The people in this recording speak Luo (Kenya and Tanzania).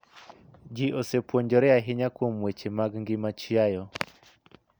Ji osepuonjore ahinya kuom weche mag ngima chiayo.